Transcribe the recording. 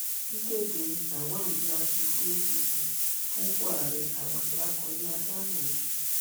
kíkéde lawan bíi aṣojú apc fúnpọ ààrẹ àwàdà akọ ni ádámù ń ṣe